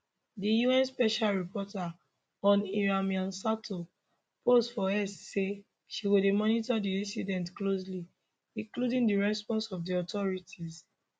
di un special rapporteur on iran mai sato post for x say she go dey monitor di incident closely including di response of di authorities